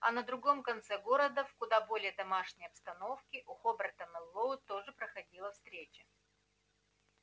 а на другом конце города в куда более домашней обстановке у хобера мэллоу тоже проходила встреча